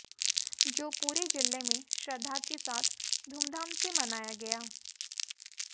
जो पूरे जिले में श्रद्धा के साथ धूमधाम से मनाया गया